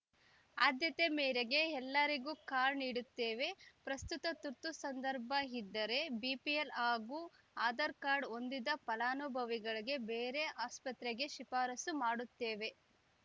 ಆದ್ಯತೆ ಮೇರೆಗೆ ಎಲ್ಲರಿಗೂ ಕಾರ್ಡ್‌ ನೀಡುತ್ತೇವೆ ಪ್ರಸ್ತುತ ತುರ್ತು ಸಂದರ್ಭ ಇದ್ದರೆ ಬಿಪಿಎಲ್‌ ಹಾಗೂ ಆಧಾರ್‌ ಕಾರ್ಡು ಹೊಂದಿದ ಫಲಾನುಭವಿಗಳಿಗೆ ಬೇರೆ ಆಸ್ಪತ್ರೆಗೆ ಶಿಫಾರಸು ಮಾಡುತ್ತೇವೆ